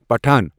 Pathan.